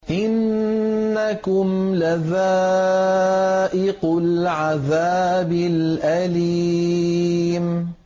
إِنَّكُمْ لَذَائِقُو الْعَذَابِ الْأَلِيمِ